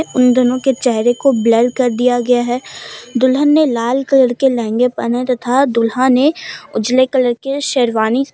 उन दोनों के चेहरे को ब्लर कर दिया गया है दुल्हन ने लाल कलर के लहंगे पहने तथा दूल्हा ने उजाले कलर के शेरवानी।